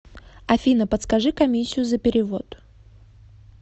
афина подскажи комиссию за перевод